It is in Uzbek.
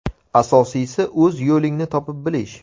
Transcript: Asosiysi, o‘z yo‘lingni topib olish.